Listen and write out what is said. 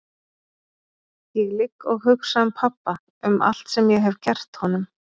Ég ligg og hugsa um pabba, um allt sem ég hef gert honum.